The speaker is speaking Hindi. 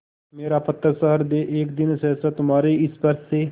मेरा पत्थरसा हृदय एक दिन सहसा तुम्हारे स्पर्श से